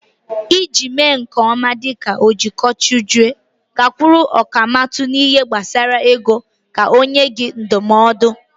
Iji mee nke ọma dịka ojiegoachụego, gakwuru ọkàmmụta n'ihe gbasara ego ka ọ nyee gị ndụmọdụ.